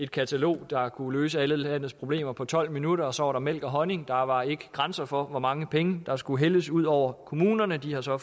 et katalog der kunne løse alle landets problemer på tolv minutter og så var der mælk og honning der var ikke grænser for hvor mange penge der skulle hældes ud over kommunerne de har så